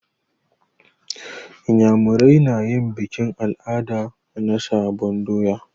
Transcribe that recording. Inyamurai na yin bikin al'ada na sabon doya.